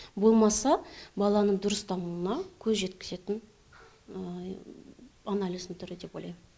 болмаса баланың дұрыс дамуына көз жеткізетін анализдің түрі деп ойлаймын